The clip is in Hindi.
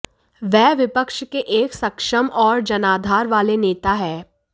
वह विपक्ष के एक सक्षम और जनाधार वाले नेता हैं